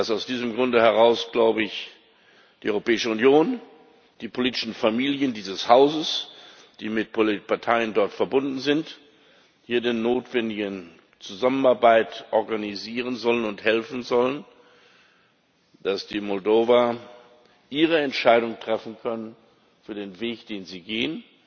Aus diesem Grunde heraus glaube ich, dass die Europäische Union, die politischen Familien dieses Hauses, die mit Parteien dort verbunden sind, hier die notwendige Zusammenarbeit organisieren sollten und helfen sollten, dass die Moldauer ihre Entscheidung treffen können für den Weg den sie gehen,